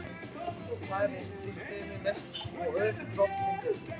Þar er uppstreymi mest og ör dropamyndun.